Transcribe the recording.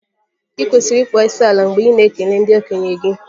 I kwesịrị ịkpọ isiala mgbe ị na-ekele ndị okenye gị